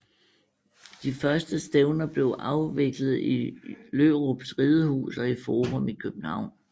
De første stævner blev afviklet i Lørups Ridehus og i Forum i København